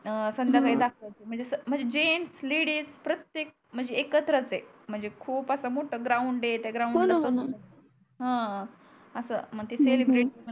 संध्याकळी अं दाखवते म्हणजे जेन्ट्स लेडीज प्रतेक म्हणजे एकत्रच आहे म्हणजे खूप अस मोठ ग्राउंड त्या ग्राउंड मध्ये कोण कोण हा अस मग ते सेलेब्रेट